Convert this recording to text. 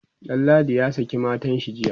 Danladi ya saki matanshi jiya